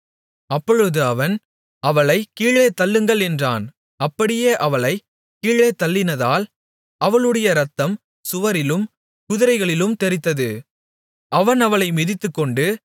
அப்பொழுது அவன் அவளைக் கீழே தள்ளுங்கள் என்றான் அப்படியே அவளைக் கீழே தள்ளினதால் அவளுடைய இரத்தம் சுவரிலும் குதிரைகளிலும் தெறித்தது அவன் அவளை மிதித்துக்கொண்டு